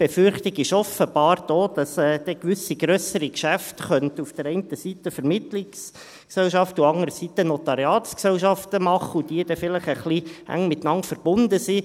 Die Befürchtung ist offenbar da, dass dann einerseits Vermittlungsgesellschaften und andererseits Notariatsgesellschaften gewisse grössere Geschäfte machen könnten und dass diese dann vielleicht ein bisschen eng miteinander verbunden sind.